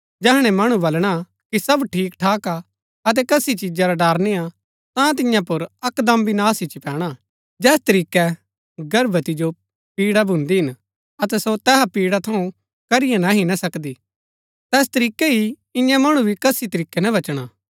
जैहणै मणु बलणा कि सब ठीक ठाक हा अतै कसी चिजा रा ड़र निय्आ ता तियां पुर अकदम विनाश इच्ची पैणा जैस तरीकै गर्भवती जो पीड़ा भून्दी हिन अतै सो तैहा पिडा थऊँ करिये नह्ही ना सकदी तैस तरीकै ही इन्या मणु भी कसी तरीकै ना बचणा